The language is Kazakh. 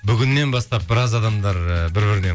бүгіннен бастап біраз адамдар і бір бірінен